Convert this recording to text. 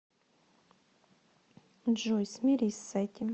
джой смирись с этим